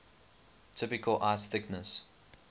typical ice thickness